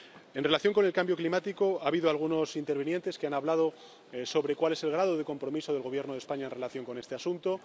En relación con el cambio climático, ha habido algunos intervinientes que han hablado sobre cuál es el grado de compromiso del Gobierno de España en relación con este asunto.